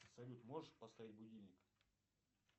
салют можешь поставить будильник